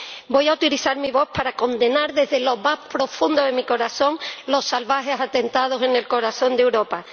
Voy a utilizar mi voz para condenar desde lo más profundo de mi corazón los salvajes atentados en el corazón de Europa.